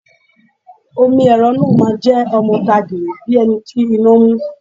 Omi ẹ̀rọ náà máa jẹ́ ọmọ ta gìrì bíi ẹni tí iná mú.